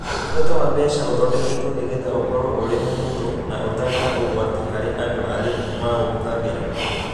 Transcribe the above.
Ũtungata wa mbeca ũthondeketwo nigetha ũkorwo ũrĩ mũhũthũ na ũtarĩ na ũgwati harĩ andũ ari maũhũthĩraga.